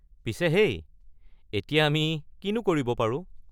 পিছে হেই, এতিয়া আমি কিনো কৰিব পাৰোঁ?